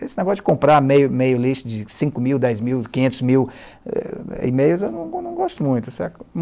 Esse negócio de comprar e-mail e-mail list de cino mil, dez mil, quinhentos mil e-mails, eu não eu não gosto muito.